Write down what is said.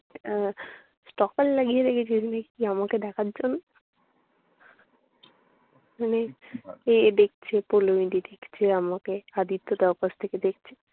আহ টহল লাগিয়ে রেখেছিলি না আমাকে দেখার জন্য। মানে তুই দেখছিলাম ওকে। আদিত্যদার উপস্থিতিতে।